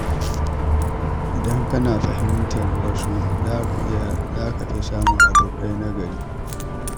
Idan kana ƙoƙarin fahimtar wasu, za ka fi samun abokai nagari.